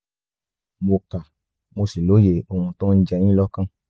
mo kà mo sì lóye ohun tó ń jẹ yín lọ́kàn